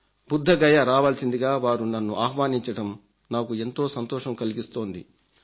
బుద్ధగయ రావల్సిందిగా వారు నన్ను ఆహ్వానించడం నాకు ఎంతో సంతోషం కలిగిస్తోంది